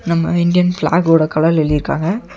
நம்ம இந்டியன் ஃபிளாகோட கலர்ல எழுதிருக்காங்க.